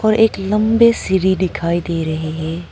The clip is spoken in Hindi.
और एक लंबे सीढ़ी दिखाई दे रही है।